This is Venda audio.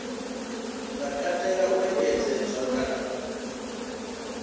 nga katela u engedzedzwa kana